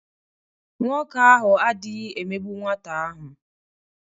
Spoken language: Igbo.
Nwoke ahụ adịghị emegbu nwata ahụ.